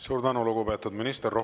Suur tänu, lugupeetud minister!